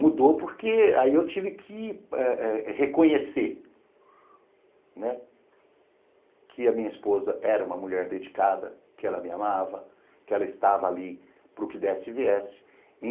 Mudou porque aí eu tive que eh eh reconhecer, né, que a minha esposa era uma mulher dedicada, que ela me amava, que ela estava ali para o que desse e viesse.